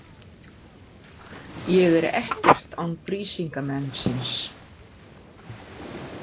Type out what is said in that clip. Ég er ekkert án Brísingamensins.